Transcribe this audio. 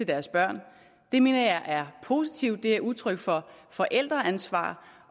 deres børn det mener jeg er positivt det er udtryk for forældreansvar